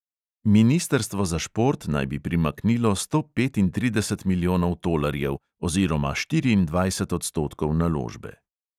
Ministrstvo za šport naj bi primaknilo sto petintrideset milijonov tolarjev oziroma štiriindvajset odstotkov naložbe.